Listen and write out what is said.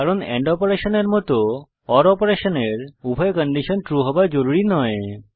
কারণ এন্ড অপারেশনের মত ওর অপারেশনের উভয় কন্ডিশন ট্রু হওয়া জরুরি নয়